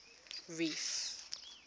reef